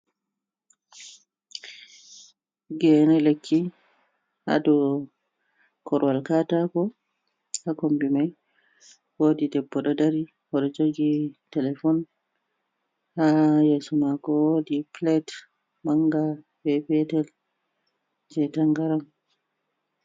Gene lekki hado korowal katako ha kombi mai ,wodi debbo dodari horjogi telefon ha yeso mako wodi plate manga be petel je tangaran.